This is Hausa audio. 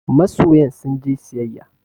Masoyan sun je siyayya